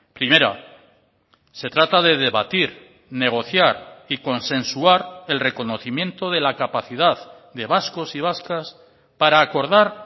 primera se trata de debatir negociar y consensuar el reconocimiento de la capacidad de vascos y vascas para acordar